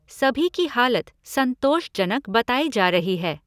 सभी की हालत संतोषजनक बताई जा रही है।